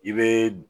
I bɛ